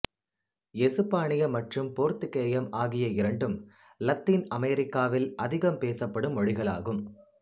எசுப்பானியம் மற்றும் போர்த்துக்கேயம் ஆகிய இரண்டும் இலத்தீன் அமெரிக்காவில் அதிகம் பேசப்படும் மொழிகள் ஆகும்